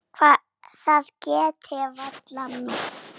Það get ég varla meint.